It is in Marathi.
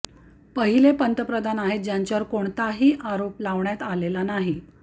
पहिले पंतप्रधान आहेत ज्यांच्यावर कोणताही आरोप लावण्यात आलेला नाही